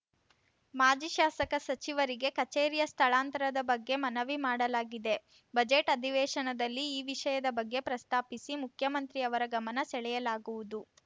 ಮಾಜಿ ಶಾಸಕ ಸಚಿವರಿಗೆ ಕಚೇರಿಯ ಸ್ಥಳಾಂತರದ ಬಗ್ಗೆ ಮನವಿ ಮಾಡಲಾಗಿದೆ ಬಜೆಟ್‌ ಅಧಿವೇಶನದಲ್ಲಿ ಈ ವಿಷಯದ ಬಗ್ಗೆ ಪ್ರಸ್ತಾಪಿಸಿ ಮುಖ್ಯಮಂತ್ರಿಯವರ ಗಮನ ಸೆಳೆಯಲಾಗುವುದು